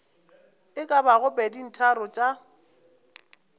e ka bago peditharong tša